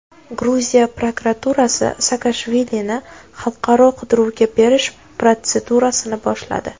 Gruziya prokuraturasi Saakashvilini xalqaro qidiruvga berish protsedurasini boshladi.